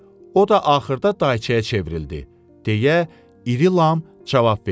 O da axırda dayçaya çevrildi, deyə İri Lam cavab verdi.